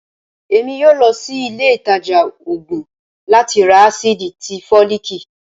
èmí yóò lòsí ilé ìtajà òògùn lati rá acidí tí folikí